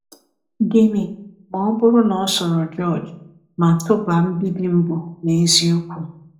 Gịnị ma ọ bụrụ na ọ soro George ma tụba mbibi mbụ n’eziokwu?